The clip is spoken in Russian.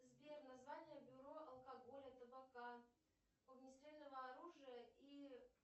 сбер название бюро алкоголя табака огнестрельного оружия и